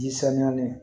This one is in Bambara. Ji sanuyali